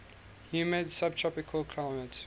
humid subtropical climate